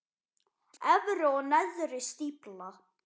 Efri og neðri stífla.